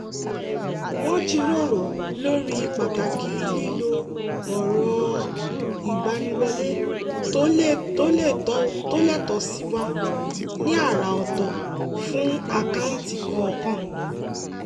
wọ́n jíròrò lórí pàtàkì lílo ọ̀rọ̀-ìgbaniwọlé tó le tó sì wà ní àrà ọ̀tọ̀ fún àkáǹtì kọ̀ọ̀kan